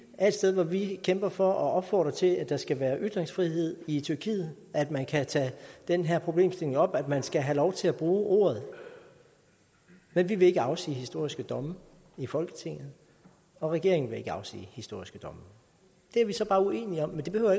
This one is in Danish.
er et sted hvor vi kæmper for og opfordrer til at der skal være ytringsfrihed i tyrkiet at man kan tage den her problemstilling op at man skal have lov til at bruge ordet men vi vil ikke afsige historiske domme i folketinget og regeringen vil ikke afsige historiske domme det er vi så bare uenige om men det behøver